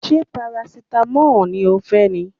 Ṣé parasitamọ́ọ̀ ni ó fẹ́ ni?